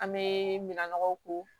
An bɛ minnɔgɔw ko